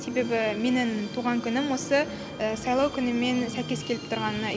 себебі менің туған күнім осы сайлау күнімен сәйкес келіп тұрғанына